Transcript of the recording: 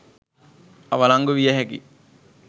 අවලංගු විය හැකි.